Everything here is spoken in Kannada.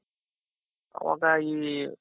ಅವಾಗ ಈ